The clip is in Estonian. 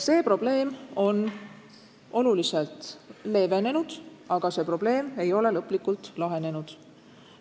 See probleem on märksa leevenenud, aga lõplikult lahenenud ei ole.